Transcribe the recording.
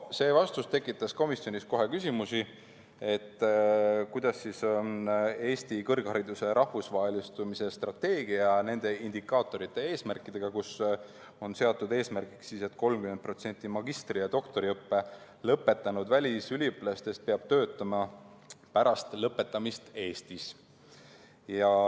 See vastus tekitas komisjonis kohe küsimusi, kuidas siis on Eesti kõrghariduse rahvusvahelistumise strateegia indikaatorite ja eesmärkidega, kus on seatud eesmärgiks, et 30% magistri- ja doktoriõppe lõpetanud välisüliõpilastest peab töötama pärast lõpetamist Eestis.